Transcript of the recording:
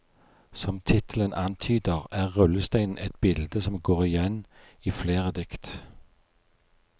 Som tittelen antyder, er rullesteinen et bilde som går igjen i flere dikt.